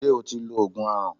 Ṣé o ti lo Ògùn aràn?